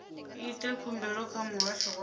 ite khumbelo kha muhasho wa